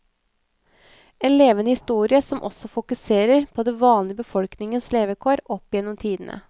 En levende historie som også fokuserer på den vanlige befolkningens levekår opp gjennom tidene.